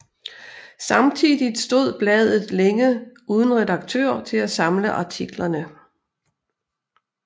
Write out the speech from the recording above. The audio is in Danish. Samtidigt stod bladet længe uden redaktør til at samle artiklerne